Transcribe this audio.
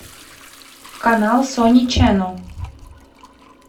канал сони ченел